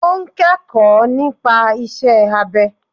O n kẹ́kọ̀ọ́ nípa isẹ́ abẹ.